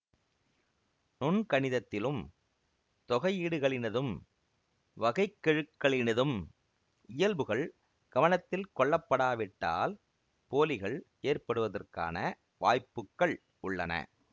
நுண்கணிதத்திலும் தொகையீடுகளினதும் வகைக்கெழுக்களினதும் இயல்புகள் கவனத்தில் கொள்ளப்படாவிட்டால் போலிகள் ஏற்படுவதற்கான வாய்ப்புக்கள் உள்ளன